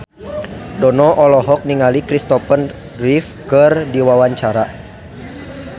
Dono olohok ningali Kristopher Reeve keur diwawancara